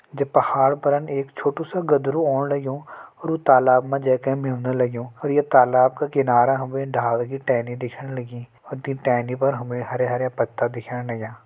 ये पहाड़ परन एक छोटू सी गदरु ओण लग्युं अर व तालाब मा जे के मिल लग्युं और ये तालाब का किनार हमे डाल की टेहनी दिखेण लगी अर ते टेहनी पर हरयाँ हरयाँ पत्ता दिखण लग्यां।